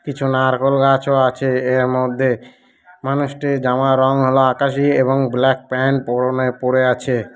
কিছু নারকোল গাছও আছে এর মধ্যে। মানুষটির জামার রং হলো আকাশি এবং ব্ল্যাক প্যান্ট পরনে পড়ে আছে--